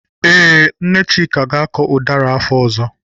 Ee, Nne Chika ga-akọ ụdara afọ ọzọ.